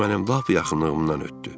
O mənim lap yaxınlığımdan ötdü.